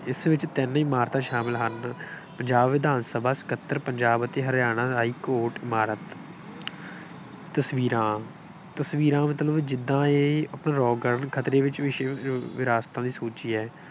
ਜਿਸ ਵਿੱਚ ਤਿੰਨ ਇਮਾਰਤਾਂ ਸ਼ਾਮਿਲ ਹਨ। ਪੰਜਾਬ ਵਿਧਾਨ ਸਭਾ, ਸਕੱਤਰ, ਪੰਜਾਬ ਅਤੇ ਹਰਿਆਣਾ ਹਾਈ ਕੋਰਟ ਇਮਾਰਤ ਤਸਵੀਰਾਂ ਤਸਵੀਰਾਂ ਮਤਲਬ ਜਿਦਾਂ ਇਹ ਆਪਣੇ ਰੌਕ ਗਾਰਡਨ ਖਤਰੇ ਵਿੱਚ ਵਿਸ਼ਵ ਵਿਰਾਸਤਾਂ ਦੀ ਸੂਚੀ ਹੈ।